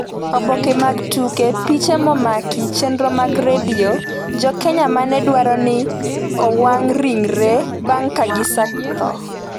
Oboke mag Tuke piche momaki chenro mag Redio Jo Kenya ma ne dwaro ni owang’ ringregi bang’ ka gisetho